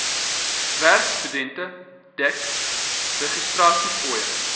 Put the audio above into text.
werkstudente dek registrasiefooie